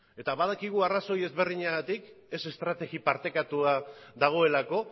badakigu arrazoi ezberdinagatik ez estrategia partekatua dagoelako